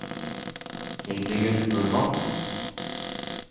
Hildegunn Normann